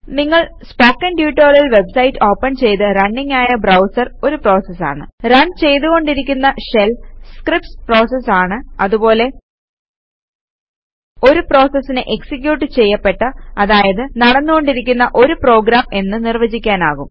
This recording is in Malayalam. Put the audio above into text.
നിങ്ങൾ സ്പോക്കൺ ട്യൂട്ടോറിയൽ വെബ്സൈറ്റ് ഓപ്പൺ ചെയ്ത റണ്ണിംഗ് ആയ ബ്രൌസർ ഒരു പ്രോസസ് ആണ് റൺ ചെയ്തുകൊണ്ടിരിക്കുന്ന ഷെൽ സ്ക്രീപ്റ്റ്സ് പ്രോസസസ് ആണ് അതുപോലെ ഒരു പ്രോസസിനെ എക്സിക്യൂട്ട് ചെയ്യപ്പെട്ട അതായത് നടന്നു കൊണ്ടിരിക്കുന്ന ഒരു പ്രോഗ്രാം എന്ന് നിർവചിക്കുവാനാകും